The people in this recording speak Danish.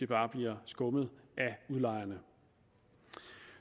bare bliver skummet af udlejerne